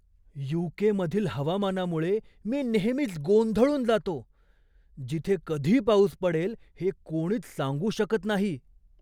You. K. मधील हवामानामुळे मी नेहमीच गोंधळून जातो, जिथे कधी पाऊस पडेल हे कोणीच सांगू शकत नाही.